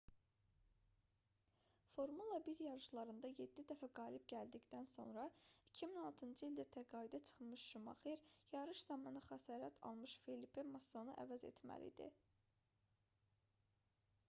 formula 1 yarışlarında yeddi dəfə qalib gəldikdən sonra 2006-cı ildə təqaüdə çıxmış şumaxer yarış zamanı xəsarət almış felipe massanı əvəz etməli idi